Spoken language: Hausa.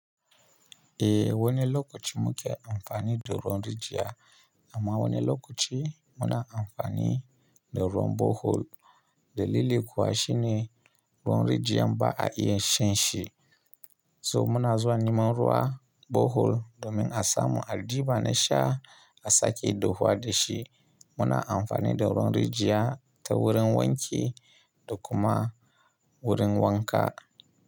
Eh wani lokaci muke amfani da ruwan rijiya amma wani lokaci muna amfani da ruwan bohol. Dalili kuwa shi ne ruwan rijiya ba a iya shan shi. So muna zuwa neman ruwa bohol domin a samu adiba na sha a sake dahuwa da shi. Muna amfani da ruwan rijiya ta wurin wanki da kuma wurin wanka.